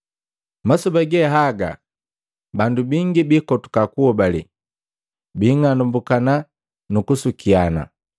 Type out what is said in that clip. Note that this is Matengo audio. Masoba ge haga bandu bingi biikotuka kuhobale, biing'anambukana nu kusukiana.